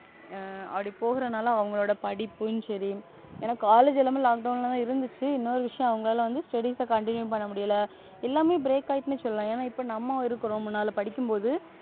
அப்படி போறதுனால அவங்களோட படிப்பும் சரி எனக்கு College எல்லாமே Lockdown தான் இருந்துச்சு. இன்னொரு விஷயம் அவங்கள வந்து Studies continue பண்ண முடியல எல்லாமே Break ஆயிடும்னு சொல்லலாம் ஏன்னா இப்ப நம்ம இருக்குறதுனால படிக்ககும்போது,